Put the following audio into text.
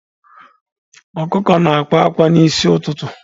Ọkụkụ na-akwa akwa n'isi ụtụtụ.